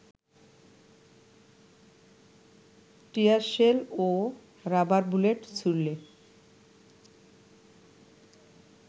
tear shell ও rubber bullet ছুড়লে